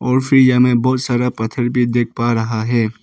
और फिर यहां मे बहुत सारा पत्थर भी देख पा रहा है।